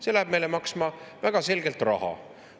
See läheb meile maksma väga selgelt raha.